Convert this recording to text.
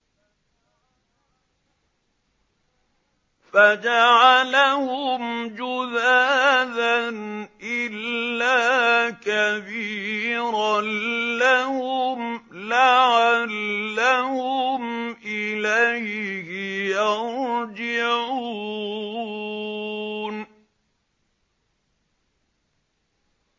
فَجَعَلَهُمْ جُذَاذًا إِلَّا كَبِيرًا لَّهُمْ لَعَلَّهُمْ إِلَيْهِ يَرْجِعُونَ